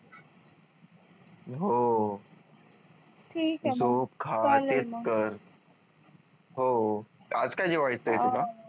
हो हो आज काय जेवायचं आहे तुला?